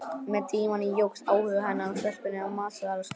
Með tímanum jókst áhugi hennar á stelpunni á matsölustaðnum.